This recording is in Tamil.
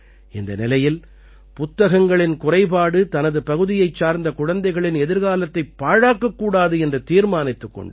இந்த நிலையில் புத்தகங்களின் குறைபாடு தனது பகுதியைச் சார்ந்த குழந்தைகளின் எதிர்காலத்தைப் பாழாக்கக் கூடாது என்று தீர்மானித்துக் கொண்டார்